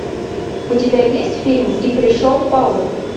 у тебя есть фильм и пришел паук